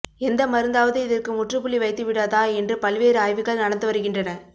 எந்த மருந்தாவது இதற்கு முற்றுப்புள்ளி வைத்துவிடதா என்று பல்வேறு ஆய்வுகள் நடந்து வருகின்றன